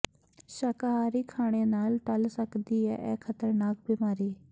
ਸ਼ਾਕਾਹਾਰੀ ਖਾਣੇ ਨਾਲ ਟੱਲ ਸਕਦੀ ਹੈ ਇਹ ਖ਼ਤਰਨਾਕ ਬਿਮਾਰੀ